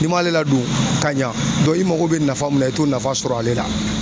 N'i m'ale ladon ka ɲa i mako be nafa min na, i t'o nafa sɔrɔ ale la